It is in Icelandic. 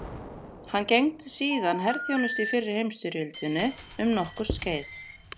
Hann gegndi síðan herþjónustu í fyrri heimstyrjöldinni um nokkurt skeið.